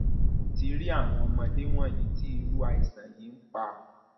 mo ti rí àwọn ọmọdé wọnyí tí irú àìsàn yìí ń pa